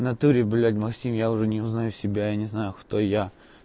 в натуре блять максим я уже не узнаю себя я не знаю кто я